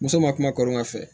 Muso ma kuma kɔlɔn ka fɛ